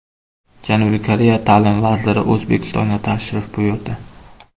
Janubiy Koreya ta’lim vaziri O‘zbekistonga tashrif buyurdi.